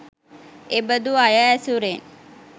එබදු අය ඇසුරෙන්